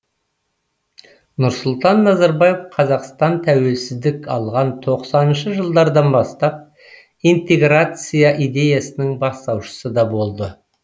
нұрсұлтан назарбаев қазақстан тәуелсіздік алған тоқсаныншы жылдардан бастап интеграция идеясының бастаушысы да болды